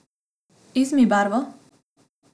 Izmij barvo!